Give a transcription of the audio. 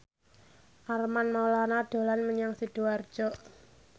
Armand Maulana dolan menyang Sidoarjo